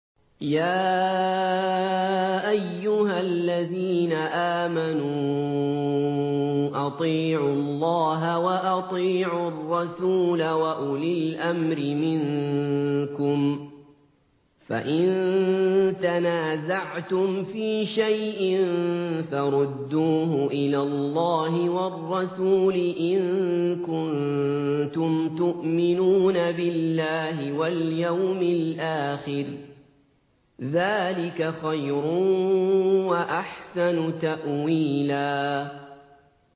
يَا أَيُّهَا الَّذِينَ آمَنُوا أَطِيعُوا اللَّهَ وَأَطِيعُوا الرَّسُولَ وَأُولِي الْأَمْرِ مِنكُمْ ۖ فَإِن تَنَازَعْتُمْ فِي شَيْءٍ فَرُدُّوهُ إِلَى اللَّهِ وَالرَّسُولِ إِن كُنتُمْ تُؤْمِنُونَ بِاللَّهِ وَالْيَوْمِ الْآخِرِ ۚ ذَٰلِكَ خَيْرٌ وَأَحْسَنُ تَأْوِيلًا